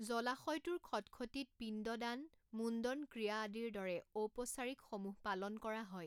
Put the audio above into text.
জলাশয়টোৰ খটখটীত পিণ্ড দান, মুণ্ডন ক্ৰিয়া আদিৰ দৰে ঔপচাৰিকসমূহ পালন কৰা হয়।